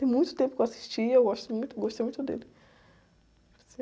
Tem muito tempo que eu assisti e eu gosto muito, gostei muito dele.